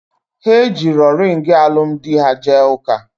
Ha ejirọ ringị alụmdi ha jee ụka